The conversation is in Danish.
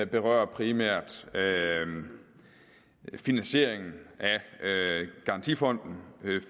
berører primært finansieringen af garantifonden